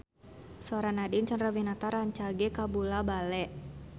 Sora Nadine Chandrawinata rancage kabula-bale